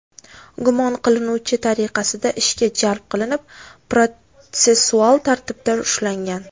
gumon qilinuvchi tariqasida ishga jalb qilinib, protsessual tartibda ushlangan.